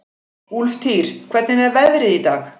Úlftýr, hvernig er veðrið í dag?